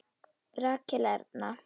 Rakel Erna.